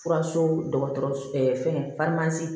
Furaso dɔgɔtɔrɔ fɛn